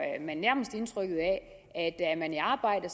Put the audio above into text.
man nærmest indtrykket af at er man i arbejde